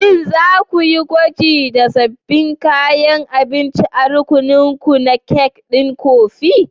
Shin za ku yi gwajin da sabbin kayan abinci a rukuninku na kek ɗin kofi?